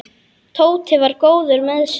Tóti var góður með sig.